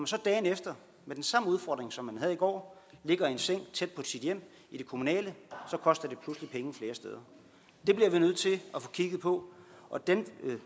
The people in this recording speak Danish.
så dagen efter med den samme udfordring som man havde i går ligger i en seng tæt på sit hjem i det kommunale koster det pludselig penge flere steder det bliver vi nødt til at få kigget på og den